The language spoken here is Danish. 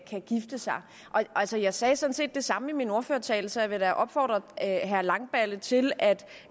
kan gifte sig altså jeg sagde sådan set det samme i min ordførertale så jeg vil da opfordre herre langballe til at